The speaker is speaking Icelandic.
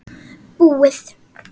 Búið